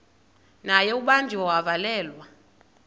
naye ubanjiwe wavalelwa